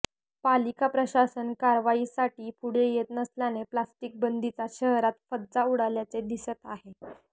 पालिका प्रशासन कारवाईसाठी पुढे येत नसल्याने प्लास्टिक बंदीचा शहरात फज्जा उडाल्याचे दिसत आहे